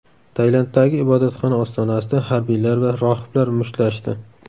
Tailanddagi ibodatxona ostonasida harbiylar va rohiblar mushtlashdi.